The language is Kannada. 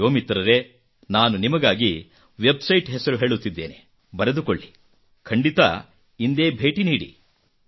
ನನ್ನ ಯುವಮಿತ್ರರೆ ನಾನು ನಿಮಗಾಗಿ ವೆಬ್ ಸೈಟ್ ಹೆಸರು ಹೇಳುತ್ತಿದ್ದೇನೆ ಬರೆದುಕೊಳ್ಳಿ ಮತ್ತು ಖಂಡಿತಾ ಇಂದೇ ಭೇಟಿ ನೀಡಿ